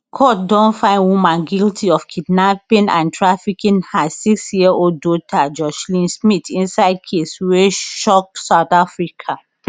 court don find woman guilty of kidnapping and trafficking her sixyearold daughter joshlin smith inside case wey shock south africa